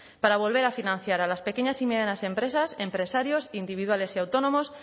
para volver a financiar a las pequeñas y medianas empresas empresarios individuales y autónomos